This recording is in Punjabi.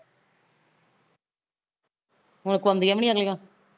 ਹੁਣ ਕੁਆਦੀਆ ਵੀ ਨੀ ਅਗਲੀਆ